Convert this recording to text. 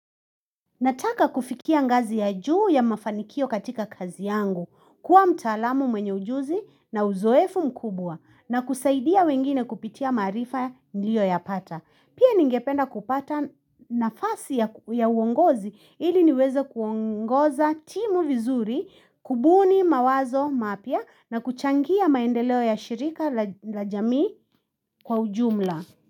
Nataka kufikia ngazi ya juu ya mafanikio katika kazi yangu, kuwa mtaalamu mwenye ujuzi na uzoefu mkubwa na kusaidia wengine kupitia maarifa niliyoyapata. Pia ningependa kupata nafasi ya uongozi ili niweze kuongoza timu vizuri, kubuni, mawazo, mapya na kuchangia maendeleo ya shirika la jamii kwa ujumla.